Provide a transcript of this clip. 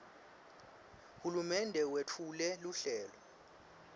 hulumende wetfule luhlelo